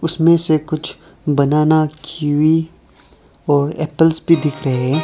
उसमें से कुछ बनाना कीवी और एप्पलस भी दिख रहे हैं।